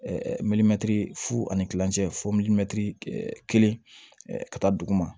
fu ani kilancɛ fɔ kelen ka taa duguma